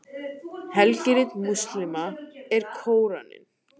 helgirit múslíma er kóraninn